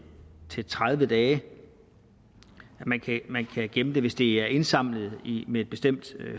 til tredive dage at man kan gemme det hvis det er indsamlet med et bestemt